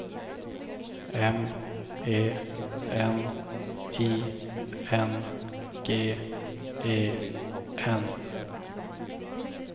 M E N I N G E N